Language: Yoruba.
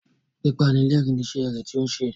Pípanilẹ́rìn-ín ni iṣẹ́ rẹ tí ó ń ṣe.